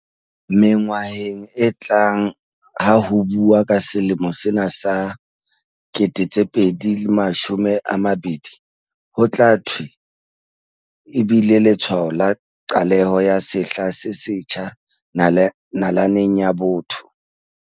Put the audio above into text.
Mengwaheng e tlang ha ho buuwa ka selemo sena sa 2020, ho tla thwe e bile letshwao la qaleho ya sehla se setjha na-laneng ya botho.